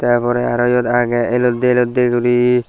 tar pore eyot agey aro elottey elottey guri.